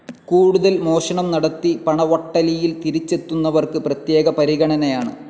കൂടുതൽ മോഷണം നടത്തി പണവട്ടലിയിൽ തിരിച്ചെത്തുന്നവർക്ക് പ്രത്യേക പരിഗണനയാണ്.